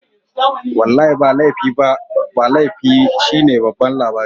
Wallahi ba laifi ba shine babban labari